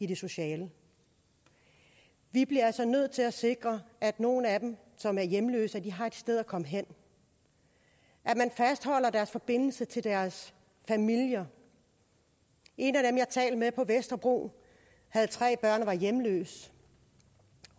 det sociale vi bliver altså nødt til at sikre at nogle af dem som er hjemløse har et sted at komme hen og at man fastholder deres forbindelse til deres familier en af dem jeg talte med på vesterbro havde tre børn og var hjemløs